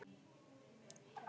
Eitt og annað.